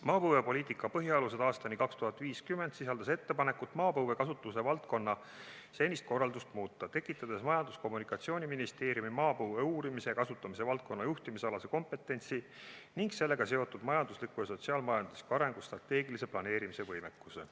"Maapõuepoliitika põhialused aastani 2050" sisaldas ettepanekut maapõue kasutuse valdkonna senist korraldust muuta, tekitades Majandus- ja Kommunikatsiooniministeeriumi maapõue uurimise ja kasutamise valdkonna juhtimise alase kompetentsi ning sellega seotud majandusliku ja sotsiaal-majandusliku arengu strateegilise planeerimise võimekuse.